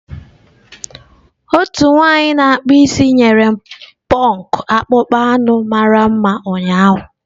Otu nwanyị na akpụ isi nyere m pọnk akpụkpọ anụ mara mma ụnyaahụ.